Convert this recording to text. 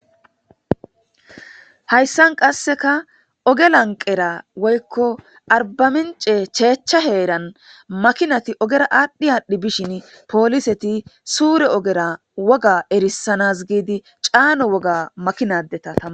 hayssan qasseka oge lanqera woykko arbamince cheechcha heeran makinati ogera aadhdhi aadhdhi bishin pooliseti suure ogera woga erisanas giidi caano woga makinadeta ttama